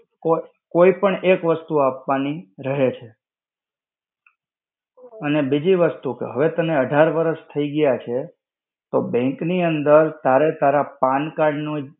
કોઈ પણ એક વસ્તુ આપવાની રહે છે. અને બીજી વસ્તુ કે, હવે તને અઢાર વરસ થઇ ગયા છે, તો bank ની અંદર તારે તારા pan card નો